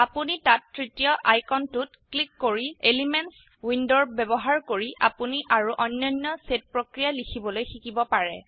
আপোনি তাত তৃতীয় আইকনটোত ক্লিক কৰি এলিমেন্টস উইন্ডোৰ ব্যবহাৰ কৰি আপোনি আৰো অন্যান্য সেট প্ৰক্ৰিয়া লিখিবলৈ শিকিব পাৰে